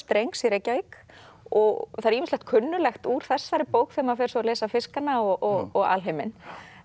drengs í Reykjavík og það er ýmislegt kunnuglegt úr þessari bók þegar maður fer svo að lesa fiskana og alheiminn